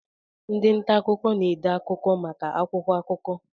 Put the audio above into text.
Ndị nta akụkọ na-ede akụkọ maka akwụkwọ akụkọ.